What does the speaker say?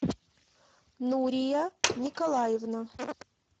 нурия николаевна